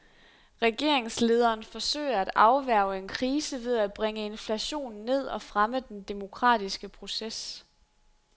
Regeringslederen forsøger at afværge en krise ved at bringe inflationen ned og fremme den demokratiske proces.